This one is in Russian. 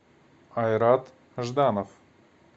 айрат жданов